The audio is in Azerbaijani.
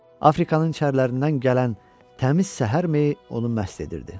Afrikanın içərilərindən gələn təmiz səhər mehi onu məst edirdi.